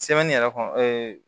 yɛrɛ kɔnɔ